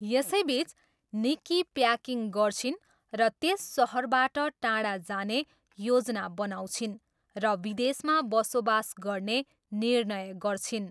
यसैबिच, Nikki packing गर्छिन् र त्यस सहरबाट टाढा जाने योजना बनाउँछिन् र विदेशमा बसोबास गर्ने निर्णय गर्छिन्।